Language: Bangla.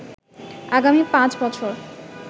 আগামী পাঁচ বছর